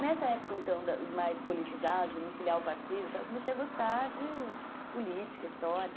Nessa época, então, mais politizada, de me filiar ao partido, eu comecei a gostar de política, história.